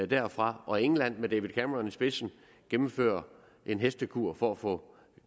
derfra og england med david cameron i spidsen gennemfører en hestekur for at få